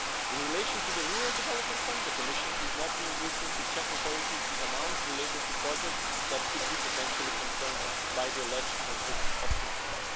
In relation to the Rural Development Fund, the Commission is not reimbursing to Czech authorities the amounts related to projects that could be potentially concerned by the alleged conflict of interest.